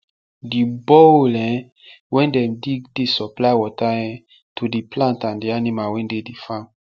the borehole um wen dem dig dey supply water um to the plant and the animal wen dey the farm